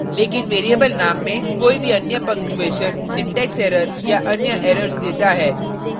लेकिन variable name में कोई भी any पंगक्चूऐशन syntax error या any errors देता है